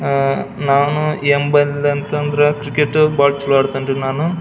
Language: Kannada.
ಅಹ್ ನಾನು ಎಂಬಲ್ ಅಂತ ಅಂದ್ರೆ ಕ್ರಿಕೆಟ್ ಬೋಟ್ ಫ್ಲೋರ್ ಕಣ್ಣ್ ರೀ ನಾನು .